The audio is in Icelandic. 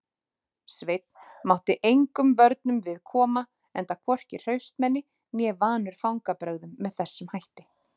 Sveinn mátti engum vörnum við koma enda hvorki hraustmenni né vanur fangbrögðum með þessum hætti.